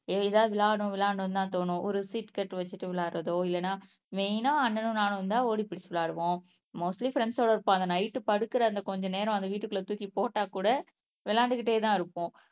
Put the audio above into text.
ஏ எதாவது விளையாடணும் விளையாடணும்ன்னுதான் தோணும் ஒரு சீட் கட்டு வச்சிட்டு விளையாடறதோ இல்லைன்னா மெயின்னா அண்ணனும் நானும் வந்தால் ஓடிப்பிடிச்சு விளையாடுவோம் மோஸ்ட்லி ப்ரெண்ட்ஸ் சோட இருக்கும் அந்த நைட் படுக்குற அந்த கொஞ்ச நேரம் அந்த வீட்டுக்குள்ள தூக்கி போட்டா கூட விளையாண்டுகிட்டேதான் இருப்போம்.